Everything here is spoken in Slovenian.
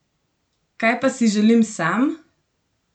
Kaj pa si želim sam?